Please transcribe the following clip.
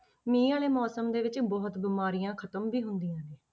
ਮੀਂਹ ਵਾਲੇ ਮੌਸਮ ਦੇ ਵਿੱਚ ਬਹੁਤ ਬਿਮਾਰੀਆਂ ਖ਼ਤਮ ਵੀ ਹੁੰਦੀਆਂ ਨੇ,